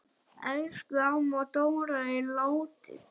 Elsku amma Dóra er látin.